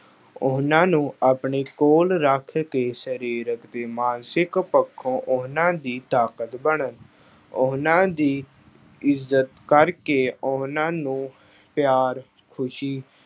ਉਹਨਾਂ ਨੂੰ ਆਪਣੇ ਕੋਲ ਰੱਖ ਕੇ ਸਰੀਰਕ ਤੇ ਮਾਨਸਿਕ ਪੱਖੋਂ ਉਹਨਾਂ ਦੀ ਤਾਕਤ ਬਣਨ। ਉਹਨਾਂ ਦੀ ਇੱਜ਼ਤ ਕਰਕੇ ਉਹਨਾਂ ਨੂੰ ਪਿਆਰ, ਖੁਸ਼ੀ